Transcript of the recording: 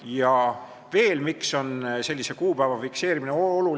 Miks veel on sellise kuupäeva fikseerimine oluline?